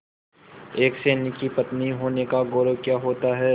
एक सैनिक की पत्नी होने का गौरव क्या होता है